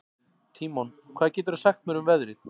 Tímon, hvað geturðu sagt mér um veðrið?